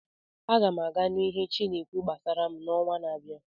Aga m aga nụ ihe chi na-ekwu gbasara m n'ọnwa na-abịa.